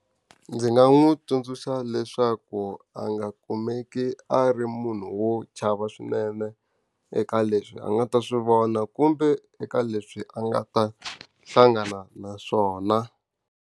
Ndzi nga n'wi tsundzuxa leswaku a nga kumeki a ri munhu wo chava swinene eka leswi a nga ta swi vona kumbe eka leswi a nga ta hlangana na swona.